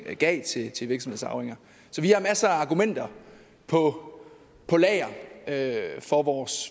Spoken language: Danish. af gav til til virksomhedsarvinger så vi har masser af argumenter på lager for vores